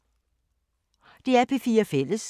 DR P4 Fælles